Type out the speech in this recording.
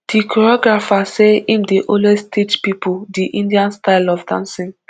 di choreographer say im dey also teach pipo di indian style of dancing